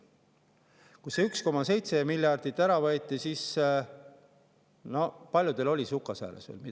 Kui see 1,7 miljardit ära võeti, siis paljudel oli midagi veel sukasääres.